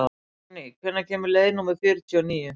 Sonný, hvenær kemur leið númer fjörutíu og níu?